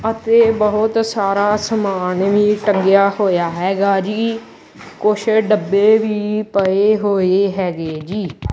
ਅਤੇ ਬਹੁਤ ਸਾਰਾ ਸਮਾਨ ਵੀ ਟੰਗਿਆ ਹੋਇਆ ਹੈਗਾ ਜੀ ਕੁਛ ਡੱਬੇ ਵੀ ਪਏ ਹੋਏ ਹੈਗੇ ਜੀ।